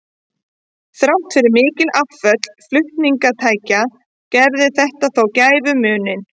Þrátt fyrir mikil afföll flutningatækja gerði þetta þó gæfumuninn.